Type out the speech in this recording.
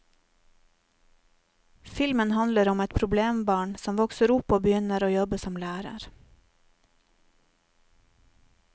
Filmen handler om et problembarn som vokser opp og begynner å jobbe som lærer.